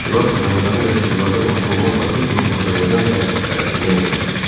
Təşkilat Məmmədəmin Rəsulzadə başda olmaqla bir qrup Azərbaycan ziyalısı tərəfindən yaradılmışdı.